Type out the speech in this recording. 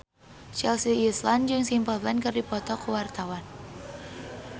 Chelsea Islan jeung Simple Plan keur dipoto ku wartawan